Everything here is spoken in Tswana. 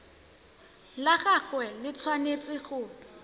la gagwe le tshwanetse go